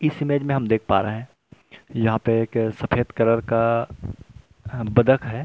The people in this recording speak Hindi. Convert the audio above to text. इस इमेज में हम देख पा रहे हैं यहां पे एक सफेद कलर का बदक है।